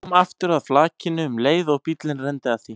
Kom aftur að flakinu um leið og bíllinn renndi að því.